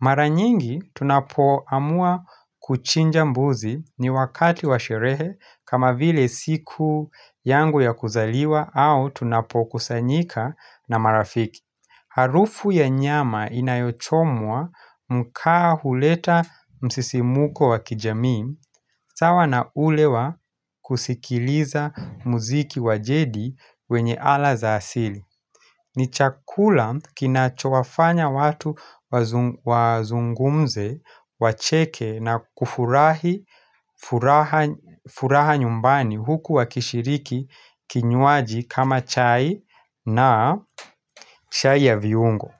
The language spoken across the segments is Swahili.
Mara nyingi tunapoamua kuchinja mbuzi ni wakati wa sherehe kama vile siku yangu ya kuzaliwa au tunapokusanyika na marafiki Harufu ya nyama inayochomwa mkaa huleta msisimuko wakijamii, sawa na ule wa kusikiliza muziki wa jedi wenye ala za asili. Ni chakula kinachowafanya watu wazungumze, wacheke na kufurahi furaha nyumbani huku wakishiriki kinywaji kama chai na chai ya viungo.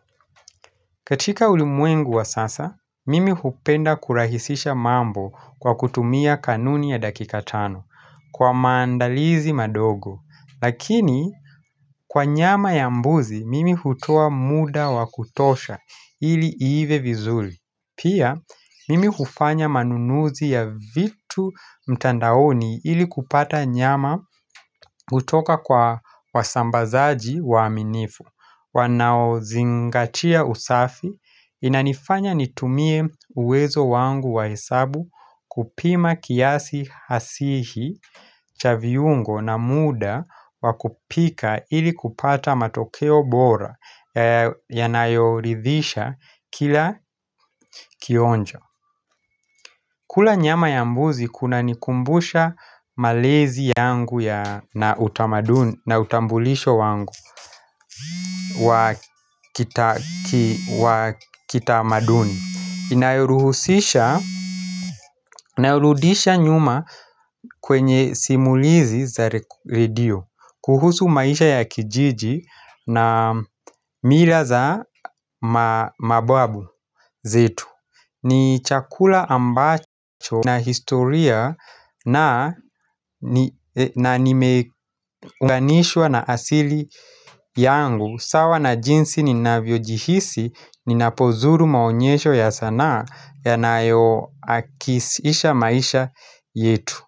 Katika ulimwengu wa sasa, mimi hupenda kurahisisha mambo kwa kutumia kanuni ya dakika tano kwa maandalizi madogo. Lakini, kwa nyama ya mbuzi, mimi hutoa muda wa kutosha ili iive vizuli. Pia, mimi hufanya manunuzi ya vitu mtandaoni ili kupata nyama kutoka kwa wasambazaji waaminifu. Wanaozingatia usafi inanifanya nitumie uwezo wangu wa hesabu kupima kiasi hasihi cha viungo na muda wakupika ili kupata matokeo bora yanayoridhisha kila kionjo. Kula nyama ya mbuzi kunanikumbusha malezi yangu na utambulisho wangu wa kitamaduni Inayoruhusisha, inayorudisha nyuma kwenye simulizi za redio kuhusu maisha ya kijiji na mila za mababu zetu ni chakula ambacho na historia na na nimeunganishwa na asili yangu sawa na jinsi ninavyojihisi ninapozuru maonyesho ya sanaa yanayoakisisha maisha yetu.